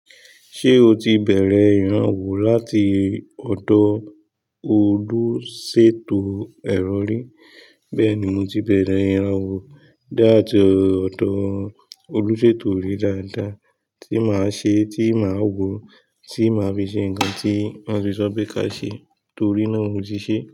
Ṣé o ti bẹ̀rẹ̀ ìrànwọ́ láti ọdọ Olúṣètò ẹ̀rọ rí? Bẹ́ẹ̀ni, mo ti bẹ̀rẹ̀ ìrànwọ́ látií ọdọ Olúṣètò rí dáadáa, tí màá ṣe tí màá wò, tí màá fi ṣe ǹkan tí won fiṣọ pe ka ṣe torí náà mò tí ì ṣe.